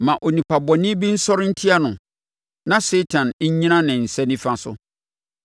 Ma onipa bɔne bi nsɔre ntia no; na Satan nnyina ne nsa nifa so.